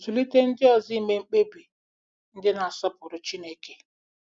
Zụlite Ndị Ọzọ Ime Mkpebi Ndị Na-asọpụrụ Chineke